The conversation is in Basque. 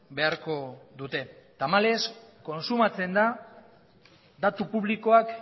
beharko dute tamalez kontsumatzen da datu publikoak